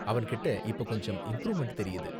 அவன்கிட்ட இப்ப கொஞ்சம் இம்ப்ரூவ்மென்ட் தெரியுது.